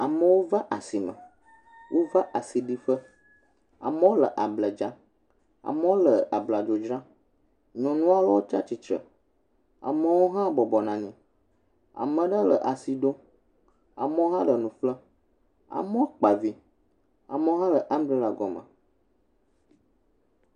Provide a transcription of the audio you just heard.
Amewo va asime , wova asiɖiƒe, amewo le able dzram, amewo le abladzo dram, nyɔnu aɖewo tsi atritre, a,ewo hã bɔbɔnɔ anyi amewo hã le asi ɖom, amewo hã le nu ƒlem amewo kpa vi amewo le amberela gɔme.